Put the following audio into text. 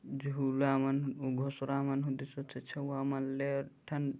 झूला मन घुसरा मन हो दी से छुआ मन ले ठन--